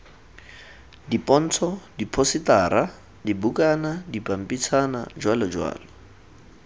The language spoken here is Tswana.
dipontsho diphosetara dibukana dipampitshana jj